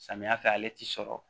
Samiya fɛ ale ti sɔrɔ